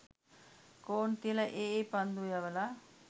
කෝන් තියල ඒ ඒ පන්දුව යවල